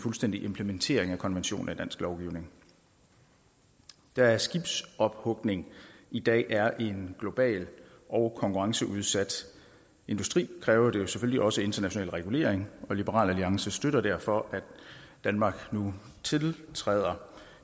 fuldstændig implementering af konventionen i dansk lovgivning da skibsophugning i dag er en global og konkurrenceudsat industri kræver det selvfølgelig også international regulering og liberal alliance støtter derfor at danmark nu tiltræder